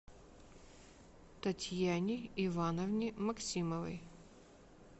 татьяне ивановне максимовой